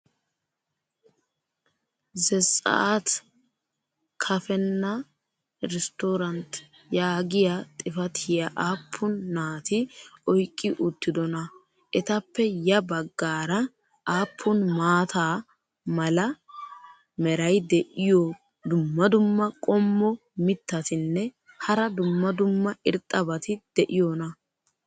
"zetse'at kafenna restorant" yaagiya xifatiya aappun naati oyqqi uttidonaa? etappe ya bagaara aappun maata mala meray diyo dumma dumma qommo mitattinne hara dumma dumma irxxabati de'iyoonaa?